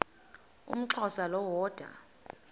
umxhosa lo woda